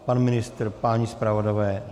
Pan ministr, páni zpravodajové?